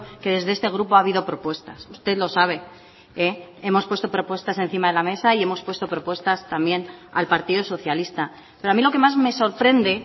que desde este grupo ha habido propuestas usted lo sabe hemos puesto propuestas encima de la mesa y hemos puesto propuestas también al partido socialista pero a mí lo que más me sorprende